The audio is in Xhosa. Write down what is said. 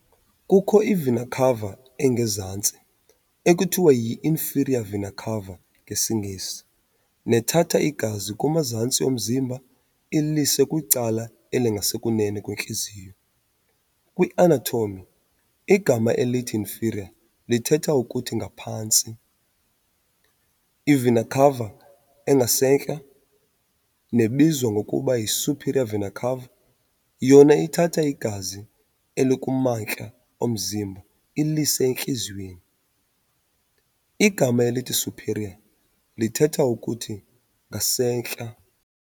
Kukho i-"vena cava" engezantsi, ekuthiwa yiinferior vena cava ngesiNgesi, nethatha igazi kumazantsi omzimba ilise kwicala elingasekunene kwentliziyo. Kwi-anatomy, igama elithi inferior lithetha ukuthi ngaphantsi. I-"vena cava" engasentla, nebizwa ngokuba yi-superior vena-cava, yona ithatha igazi elikumantla omzimba ilise entliziyweni. Igama elithi superior lithetha ukuthi ngasentla.